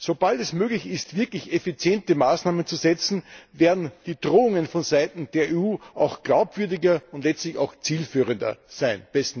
Sobald es möglich ist, wirklich effiziente Maßnahmen zu setzen, werden die Drohungen von Seiten der EU auch glaubwürdiger und letztlich auch zielführender sein.